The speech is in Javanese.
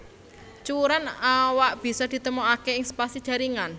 Cuwèran awak bisa ditemokaké ing spasi jaringan